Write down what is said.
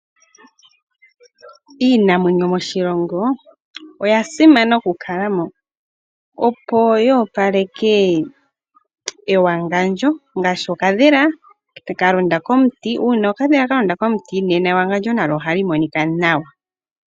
Iinamwenyo moshilongo oya simana oku kala mo opo yoopaleke ewangandjo ngaashi okadhila ka londa komuti, uuna okadhila kalonda komuti nena ewangandjo nalyo ohali monika nawa .